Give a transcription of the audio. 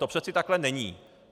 To přece takhle není.